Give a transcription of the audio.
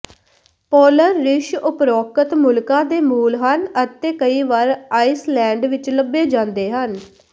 polar ਰਿੱਛ ਉਪਰੋਕਤ ਮੁਲਕਾਂ ਦੇ ਮੂਲ ਹਨ ਅਤੇ ਕਈ ਵਾਰ ਆਈਸਲੈਂਡ ਵਿੱਚ ਲੱਭੇ ਜਾਂਦੇ ਹਨ